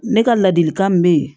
Ne ka ladilikan min bɛ yen